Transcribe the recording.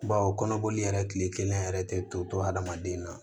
Bawo kɔnɔboli yɛrɛ kile kelen yɛrɛ tɛ to hadamaden na